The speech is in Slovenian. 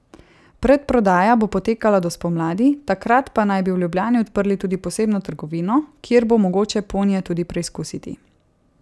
Predprodaja bo potekala do spomladi, takrat pa naj bi v Ljubljani odprli tudi posebno trgovino, kjer bo mogoče ponije tudi preizkusiti.